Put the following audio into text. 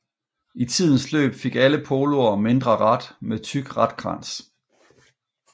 I tidens løb fik alle Poloer mindre rat med tyk ratkrans